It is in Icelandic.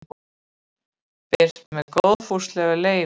Birt með góðfúslegu leyfi.